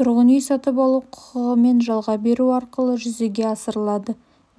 тұрғын үй сатып алу құқығымен жалға беру арқылы жүзеге асырылады